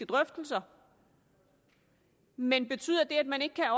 drøftelser men betyder det at man ikke kan